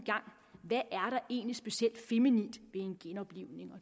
der egentlig specielt feminint ved en genoplivning